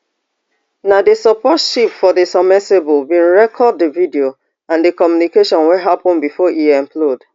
na di support ship for di submersible bin record di video and di communication wey happun before e implode